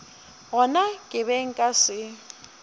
gona ke be nka se